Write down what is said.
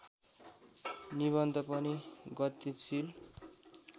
निबन्ध पनि गतिशील